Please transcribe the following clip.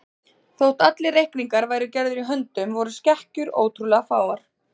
Þótt allir reikningar væru gerðir í höndum voru skekkjur ótrúlega fáar.